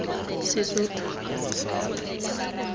sesotho